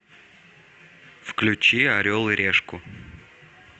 включи орел и решку